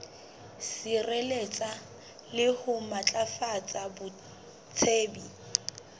sireletsa le ho matlafatsa botsebi